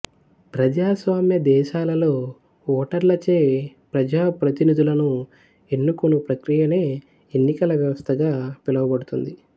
ప్రజాస్వామ్య దేశాలలో ఓటర్లచే ప్రజాప్రతినిధులను ఎన్నుకొను ప్రక్రియనే ఎన్నికల వ్యవస్థగా పిలువబడుతుంది